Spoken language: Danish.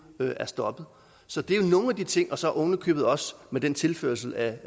er stoppet så det er jo nogle af de ting og så er der ovenikøbet også den tilførsel af